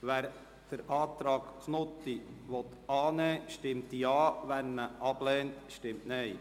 Wer den Antrag Knutti annehmen will, stimmt Ja, wer diesen ablehnt, stimmt Nein.